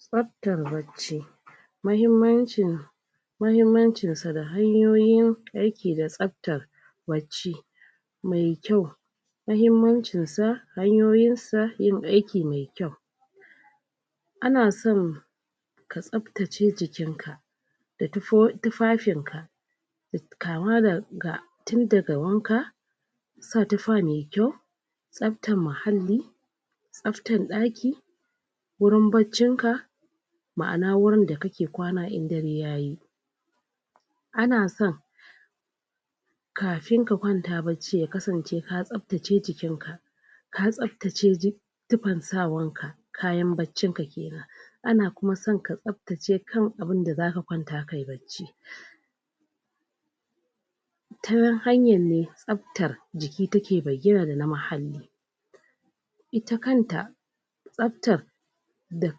tsaftar wacce mahimmancinsa da hanyoyin aiki da tsafta wacce me kyau mahimmancinsa hanyoyinsa yin aiki me kyau anasan ka tsaftace jikinka da tufafin ka kama daga tun daga wanka sa tufa me kyau tsaftar muhalli tsaftan daki wurin baccinka ma’ana wurin da kake kwana in dare yayi anasan kafin ka kwanta bacci ka tsaftace jikinka ka tsaftace tufan sawanka kayan baccin ka kenan ana kuma san ka tsaftace kan abunda zaka kwamta kayi bacci tanan hanyar ne tsaftar jiki take bayyana dana muhalli ita kanta tsaftar da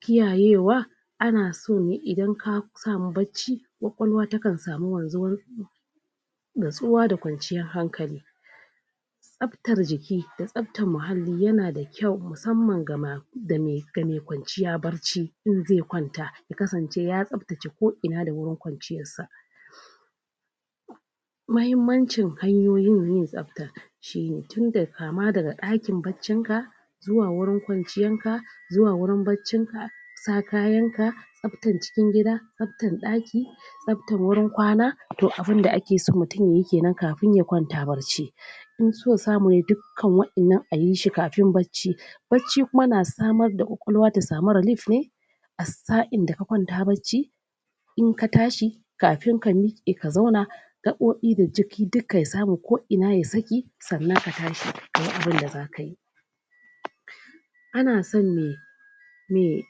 kiyayewa anaso ne idan kasamu bacci ƙwaƙwalwa takan samu wan zuwar nutsuwa da kwanciyar hankali tsaftar jiki da tsaftar muhalli yana da kyau musamman ga me kwanciya bacci idan zai kwanta ya kasance ya tsaftace ko ina da wurin kwanciyarsa mahimmancin hanyoyin yin tsafta shine tun daga kama daga dakin baccin ka zuwa wurin kwanciyarka zuwa wurin baccinka sa kayanka tsaftar cikin gida tsaftar daki tsaftar wurin kwana to abunda akeso mutum yayi kenan kafin ya kwanta bacci inso samune dukkan wa innan ayishi kafin bacci bacci kuma na samar da ƙwaƙwalwa ta samu relief ne a sa in daka kwanta bacci inka tashi kafin ka mike ka zauna ga ɓuɓe da jiki duka ya samu ko ina ya saki sannan ka tashi kayi abunda zakayi anasan ne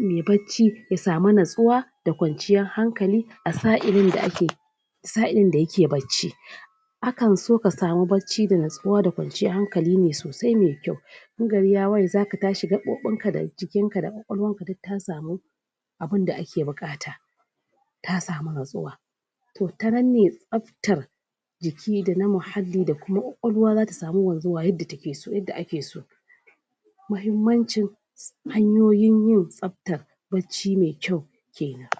me bacci ya samu nutsuwa da kwanciyar hankali a sa ilin d ake asa ilin da yake bacci akanso ka samu bacci da nutsuwa da kwanciyar hankali ne sosai me kyau in gari ya waye zaka tashi gaɓuɓinka da jikinka da ƙwaƙwalwarka duk ta samu abunda ake buƙata ta samu nutsuwa to ta nan ne tsaftar jiki da na muhalli da kuma ƙwaƙwalwa zata samu wanzuwa yanda akeso mahimmancin hanyoyin yin tsafta bacci me kyau kenan.